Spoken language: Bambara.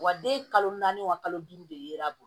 Wa den kalo naani wa kalo duuru de yera